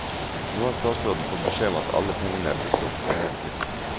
Nå har statsråden fått beskjed om at alle pengene er brukt opp og mere til.